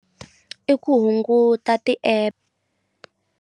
I ku hunguta ti-app.